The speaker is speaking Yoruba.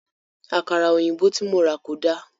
À̀kàrà òyìnbó tí mo rà kò dáa.